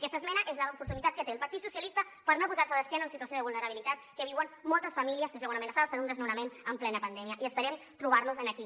aquesta esmena és l’oportunitat que té el partit socialista per no posar se d’esquena a la situació de vulnerabilitat que viuen moltes famílies que es veuen amenaçades per un desnonament en plena pandèmia i esperem trobar los aquí